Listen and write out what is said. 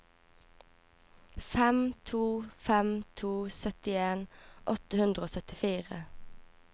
fem to fem to syttien åtte hundre og syttifire